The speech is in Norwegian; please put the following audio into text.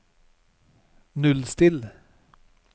nullstill